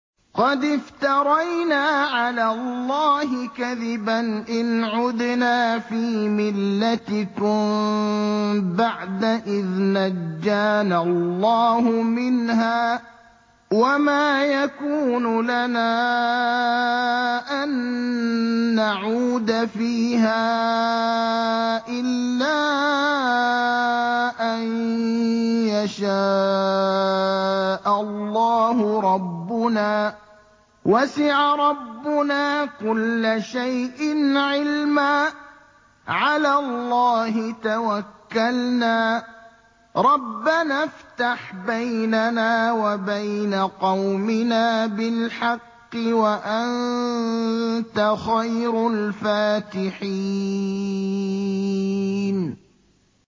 قَدِ افْتَرَيْنَا عَلَى اللَّهِ كَذِبًا إِنْ عُدْنَا فِي مِلَّتِكُم بَعْدَ إِذْ نَجَّانَا اللَّهُ مِنْهَا ۚ وَمَا يَكُونُ لَنَا أَن نَّعُودَ فِيهَا إِلَّا أَن يَشَاءَ اللَّهُ رَبُّنَا ۚ وَسِعَ رَبُّنَا كُلَّ شَيْءٍ عِلْمًا ۚ عَلَى اللَّهِ تَوَكَّلْنَا ۚ رَبَّنَا افْتَحْ بَيْنَنَا وَبَيْنَ قَوْمِنَا بِالْحَقِّ وَأَنتَ خَيْرُ الْفَاتِحِينَ